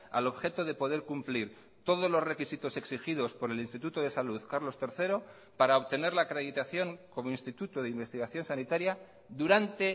al objeto de poder cumplir todos los requisitos exigidos por el instituto de salud carlos tercero para obtener la acreditación como instituto de investigación sanitaria durante